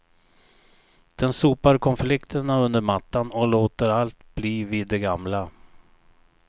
Den sopar konflikterna under mattan och låter allt bli vid det gamla.